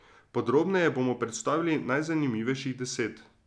Podrobneje bomo predstavili najzanimivejših deset.